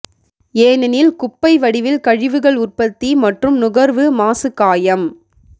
ஏனெனில் குப்பை வடிவில் கழிவுகள் உற்பத்தி மற்றும் நுகர்வு மாசு காயம்